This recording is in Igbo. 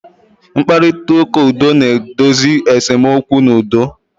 Mkparịta ụka udo na-edozi esemokwu n'udo.